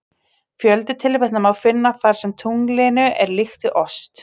Fjölda tilvitnana má finna þar sem tunglinu er líkt við ost.